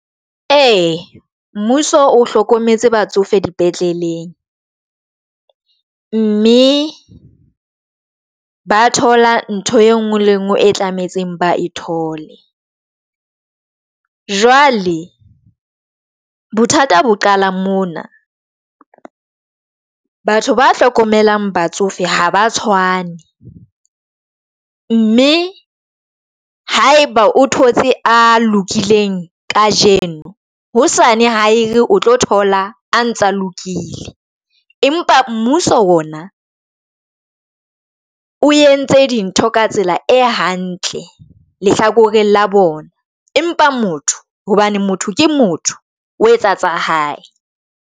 E mmuso o hlokometse batsofe dipetleleng, mme ba thola ntho e nngwe le nngwe e tlametse ba e thole jwale bothata bo qala mona. Batho ba hlokomelang batsofe ha ba tshwane mme haeba o thotse a lokileng kajeno hosane ha e re o tlo thola a ntsa lokile. Empa mmuso ona o entse dintho ka tsela e hantle lehlakore la bona. Empa motho hobane motho ke motho o etsa tsa hae.